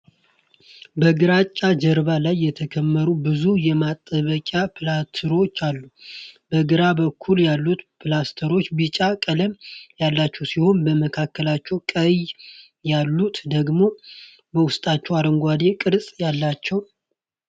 በግራጫ ጀርባ ላይ የተከመሩ ብዙ የማጣበቂያ ፕላስተሮች አሉ። በግራ በኩል ያሉት ፕላስተሮች ቢጫ ቀለም ያላቸው ሲሆኑ፣ መካከለኛዎቹና ቀኝ ያሉት ደግሞ በውስጣቸው አረንጓዴ ቅርፅ አላቸው።